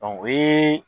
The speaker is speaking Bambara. o ye